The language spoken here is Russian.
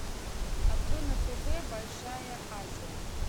открой на тв большая азия